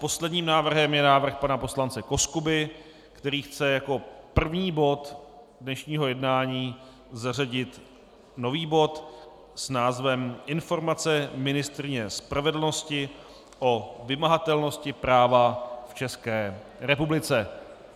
Posledním návrhem je návrh pana poslance Koskuby, který chce jako první bod dnešního jednání zařadit nový bod s názvem Informace ministryně spravedlnosti o vymahatelnosti práva v České republice.